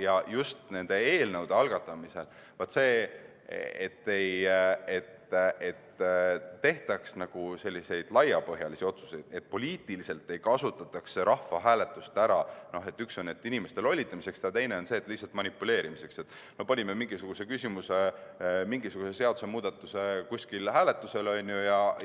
Ja just eelnõude algatamisel, et ei tehtaks selliseid laiapõhjalisi otsuseid ja et poliitiliselt ei kasutataks rahvahääletust ära – esiteks inimeste lollitamiseks ja teiseks lihtsalt nendega manipuleerimiseks, et panime mingisuguse küsimuse, mingisuguse seadusemuudatuse kuskil hääletusele